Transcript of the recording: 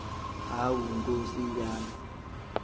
hawu nkosi yami